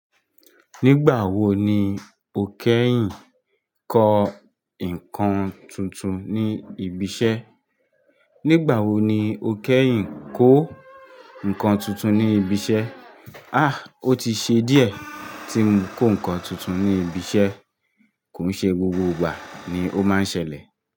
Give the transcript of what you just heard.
Nígbà wo ni o kẹ́yìn kó nǹkan tuntun ní ibi iṣẹ́? Nígbà wo ni o kẹ́yìn kó nǹkan tuntun ní ibi iṣẹ́? Ah, ó ti ṣe díẹ̀ tí mo kó nǹkan tuntun ní ibi iṣẹ́. Kò ń ṣe gbogbo ìgbà ni ó máa ń ṣẹlẹ̀